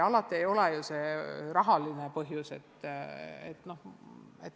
Ja siin ei ole alati tegemist rahalise põhjusega.